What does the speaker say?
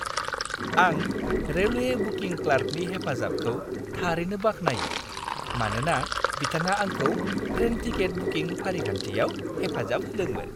आं railway booking क्लार्कनि हेफाजाबखौ थारैनो बाख्नायो, मानोना बिथाङा आंखौ ट्रेन टिकेट बुकिं फारिखान्थियाव हेफाजाब होदोंमोन।